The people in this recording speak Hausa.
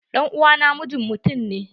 Ɗan'uwa na mijin mutum ne.